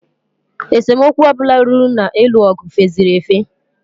Esemokwu ọbụla ruru na-ịlụ ọgụ feziri efe.